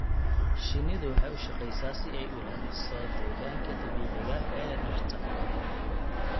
Shinnidu waxay u shaqeysaa si ay u ilaaliso deegaanka dabiiciga ah ee dhirta.